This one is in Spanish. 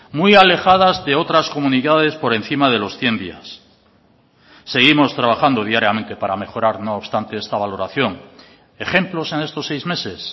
muy alejadas de otras comunidades por encima de los cien días seguimos trabajando diariamente para mejorar no obstante esta valoración ejemplos en estos seis meses